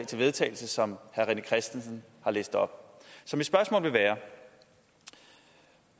til vedtagelse som herre rené christensen har læst op så mit spørgsmål vil være